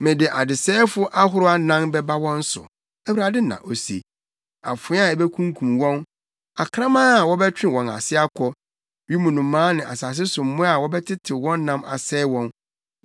“Mede adesɛefo ahorow anan bɛba wɔn so,” Awurade na ose, “afoa a ebekunkum wɔn, akraman a wɔbɛtwe wɔn ase akɔ, wim nnomaa ne asase so mmoa a wɔbɛtetew wɔn nam asɛe wɔn.